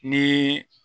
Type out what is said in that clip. Ni